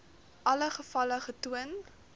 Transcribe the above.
alle gevalle getoon